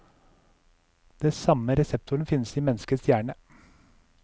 Den samme reseptoren finnes i menneskets hjerne.